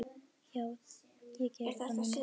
Já, ég geri það núna.